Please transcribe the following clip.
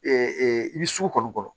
i bɛ sugu kɔni kɔnɔ